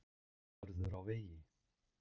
Vörður á vegi.